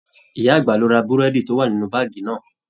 Ìyá àgbà lo ra burẹdi to wà nínú baagi náà.